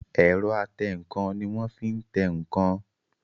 Ẹ̀rọ atẹǹkan ní wọ́n fí tẹ ǹkan